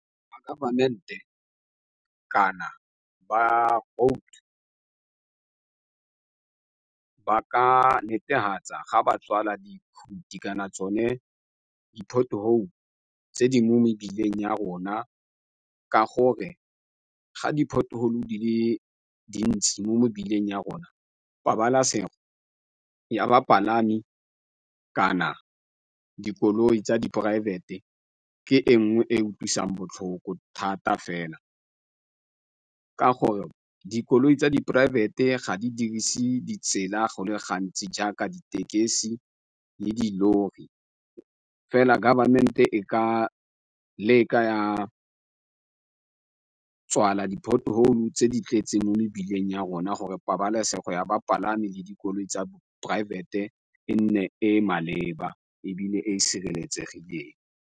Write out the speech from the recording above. Ba ka netefatsa ga ba tswala dikhuti kana tsone di-pothole tse di mo mebileng ya rona ka gore ga di-pothole di le dintsi mo mebileng ya rona pabalasego ya bapalami kana dikoloi tsa poraefete. Ke e nngwe e e utlwisang botlhoko thata fela, ka gore dikoloi tsa di poraefete ga di dirise ditsela go le gantsi jaaka ditekesi le dilori fela government e ka leka ya tswala di-pothole tse di tletse mo mebileng ya rona gore pabalesego ya bapalami le dikoloi tsa poraefete e nne e e maleba ebile e e sireletsegileng.